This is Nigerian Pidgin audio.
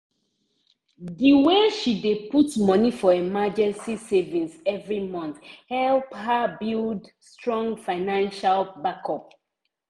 the way she dey put moni for emergency savings every month help her build strong financial backup.